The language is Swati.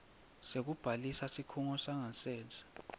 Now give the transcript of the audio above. sekubhalisa sikhungo sangasese